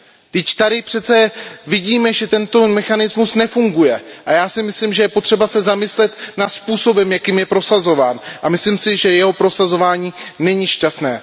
Vždyť tady přece vidíme, že tento mechanismus nefunguje, a já se domnívám, že je potřeba se zamyslet nad způsobem, jakým je prosazován. A myslím si, že jeho prosazování není šťastné.